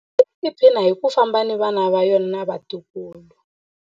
Nguluve yi tiphina hi ku famba na vana va yona na vatukulu.